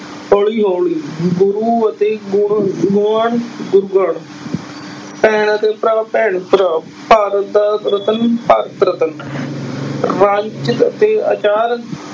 ਹੌਲੀ ਹੌਲੀ, ਗੁਰੂ ਅਤੇ ਭੈਣ ਅਤੇ ਭਰਾ ਭੈਣ ਭਰਾ, ਭਾਰਤ ਦਾ ਰਤਨ ਭਾਰਤ ਰਤਨ ਅਤੇ ਆਚਾਰ